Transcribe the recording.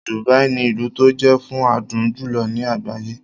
Dubai ní ilú tó jé fún adùn jùlọ ní àgbáyé.